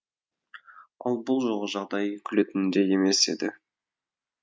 ал бұл жолғы жағдай күлетіндей емес еді